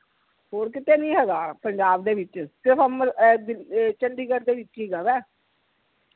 ਹੋਰ ਕੀਤੇ ਨੀ ਹੇਗਾ ਪੰਜਾਬ ਦੇ ਵਿਚ ਸਿਰਫ ਅਮਰ ਅਹ ਅਹ ਚੰਡੀਗੜ੍ਹ ਦੇ ਵਿਚ ਹੇਗਾ ਵਾ